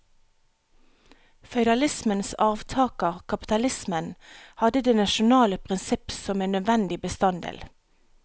Føydalismens arvtaker, kapitalismen, hadde det nasjonale prinsipp som en nødvendig bestanddel.